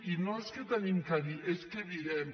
i no és que hi tinguem a dir és que direm